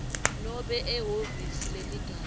nobe ehhovisi leligatja